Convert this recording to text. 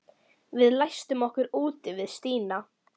Við læstum okkur úti við Stína.